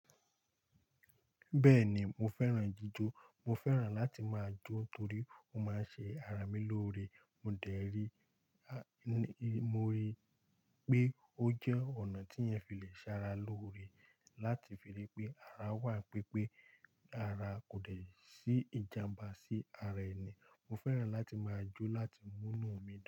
Bẹ́ẹ̀ni mo fẹ́ràn jíjó. Mo fẹ́ràn láti máa jó torí ó máa ń ṣe ara mi lóore. Mo dẹ̀ rí, mo rí pé ó jẹ́ ọ̀nà tí ẹ fi le ṣara lóore láti fi rí pé ara wà n pipé ara kò dẹ̀ sí ìjàmbá sí ara ẹni. Mo fẹ́ràn láti máa jó láti múnu mi dùn.